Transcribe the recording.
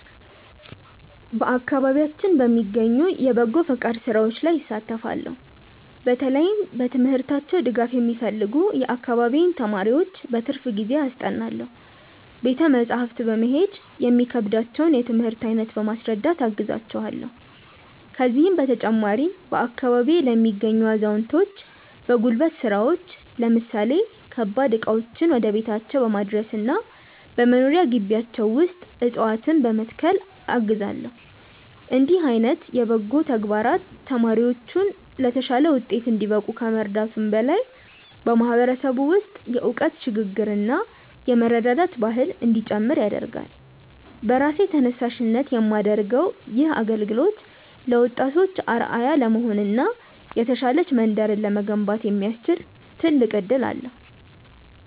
በአካባቢያችን በሚገኙ የበጎ ፈቃድ ሥራዎች ላይ እሳተፋለው። በተለይም በትምህርታቸው ድጋፍ የሚፈልጉ የአካባቢዬን ተማሪዎች በትርፍ ጊዜዬ አስጠናለው። ቤተ መጻሕፍት በመሄድ የሚከብዳቸውን የትምህርት አይነት በማስረዳት አግዛቸዋለው። ከዚህም በተጨማሪ፣ በአካባቢዬ ለሚገኙ አዛውንቶች በጉልበት ሥራዎች ለምሳሌ ከባድ ዕቃዎችን ወደ ቤታቸው በማድረስና በመኖሪያ ግቢያቸው ውስጥ ዕፅዋትነ በመትከል አግዛለው። እንዲህ ዓይነት በጎ ተግባራት ተማሪዎች ለተሻለ ውጤት እንዲበቁ ከመርዳቱም በላይ፣ በማህበረሰቡ ውስጥ የእውቀት ሽግ ግርና የመረዳዳት ባህል እንዲጨምር ያደርጋል። በራሴ ተነሳሽነት የማደርገው ይህ አገልግሎት ለወጣቶች አርአያ ለመሆንና የተሻለች መንደርን ለመገንባት የሚያስችል ትልቅ እድል ነው።